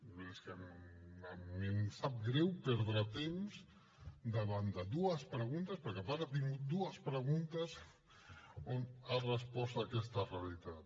a mi em sap greu perdre temps davant de dues preguntes perquè a part tinc dues preguntes on ha respost aquesta realitat